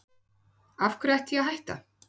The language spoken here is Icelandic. Af hverju ætti ég að hætta?